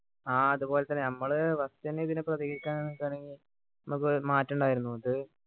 ആഹ് അതുപോലെതന്നെ ഞമ്മള് firsr എന്നെ ഇതിനെ പ്രതികരിക്കാൻ നിക്കുകയാണെങ്കി നമുക്ക് മാറ്റമുണ്ടായിരുന്നു ഇത്